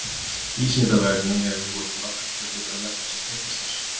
Vísindavefnum hafa borist margar spurningar um efni sem tengist þessu.